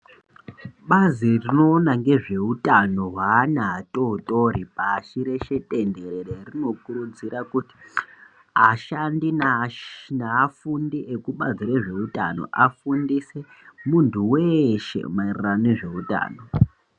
Bazi rinoona nezveutano hwevana atotori pashi reshe tenderere rinokurudzira kuti ashandi neafundi ekubazi rezveutano afundise muntu weshe maererano nezveutano.